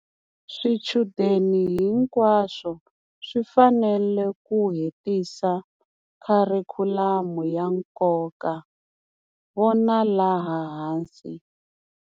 Swichudeni hinkwaswo swi fanele ku hetisa kharikhulamu ya nkoka vona laha hansi.